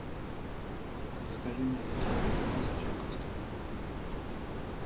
закажи мне литровый квас очаковский